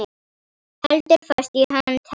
Heldur fast í hönd hennar.